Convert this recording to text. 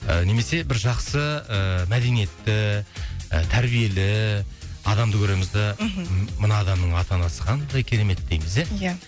ы немесе бір жақсы ыыы мәдениетті ы тәрбиелі адамды көреміз да мхм мына адамның ата анасы қандай керемет дейміз ия ия